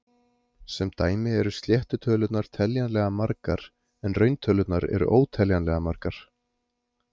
Sem dæmi eru sléttu tölurnar teljanlega margar, en rauntölurnar eru óteljanlega margar.